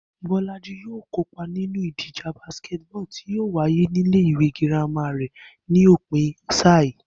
Bó̩lájí yóò kópa nínú ìdíje basketball tí yóò wáyé nílé ìwé girama rè̩ ní òpin sáà yìí